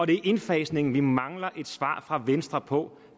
det er indfasningen vi mangler et svar fra venstre på